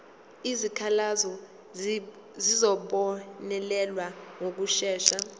izikhalazo zizobonelelwa ngokushesha